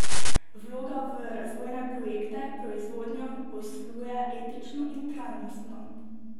Vlaga v razvojne projekte, proizvodnjo, posluje etično in trajnostno.